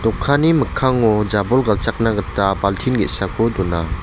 mikkango jabol galchakna gita baltin ge·sako dona.